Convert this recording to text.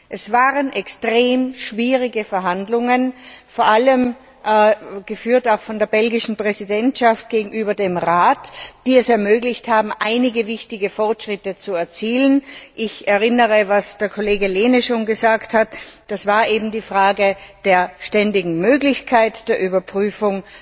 Es waren extrem schwierige Verhandlungen, vor allem geführt von der belgischen Präsidentschaft gegenüber dem Rat, die es ermöglicht haben, einige wichtige Fortschritte zu erzielen. Ich erinnere daran, was der Kollege Lehne schon gesagt hat, es war eben die Frage der ständigen Möglichkeit der Überprüfung,